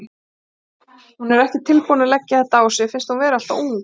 Hún er ekki tilbúin að leggja þetta á sig, finnst hún vera alltof ung.